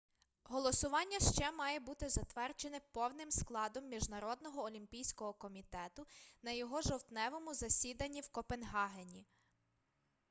голосування ще має бути затверджене повним складом міжнародного олімпійського комітету на його жовтневому засіданні в копенгагені